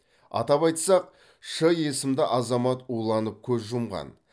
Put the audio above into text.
атап айтсақ ш есімді азамат уланып көз жұмған